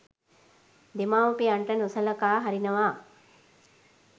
දෙමව්පියන්ට නොසලකා හරිනවා